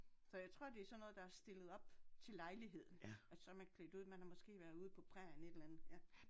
Så jeg tror det er sådan noget der er stillet op til lejligheden og så er man klædt ud man har måske været ude på prærien et eller andet ja